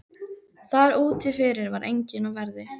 Þar úti fyrir var enginn á verði.